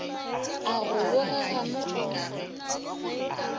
a go bogega mo o